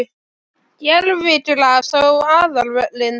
Gervigras á aðalvöllinn?